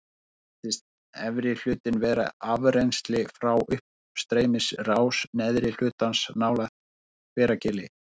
Þannig virðist efri hlutinn vera afrennsli frá uppstreymisrás neðri hlutans nálægt Hveragili.